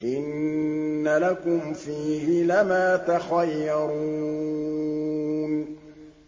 إِنَّ لَكُمْ فِيهِ لَمَا تَخَيَّرُونَ